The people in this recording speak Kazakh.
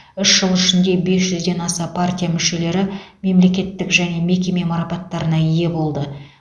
үш жыл ішінде бес жүзден аса партия мүшелері мемлекеттік және мекеме марапаттарына ие болды